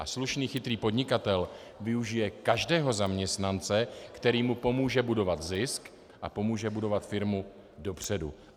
A slušný, chytrý podnikatel využije každého zaměstnance, který mu pomůže budovat zisk a pomůže budovat firmu dopředu.